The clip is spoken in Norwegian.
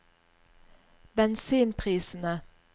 bensinprisene